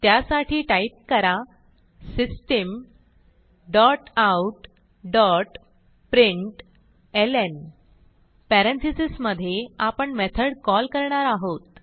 त्यासाठी टाईप करा system dot out dot println parenthesis मधे आपण मेथड कॉल करणार आहोत